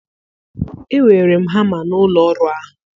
Ewere m hama n'ụlọ ọrụ ahụ.